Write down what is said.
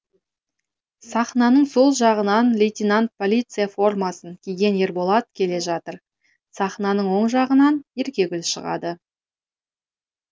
сахнаның сол жағынан лейтенант полиция формасын киген ерболат келе жатыр сахнаның оң жағынан еркегүл шығады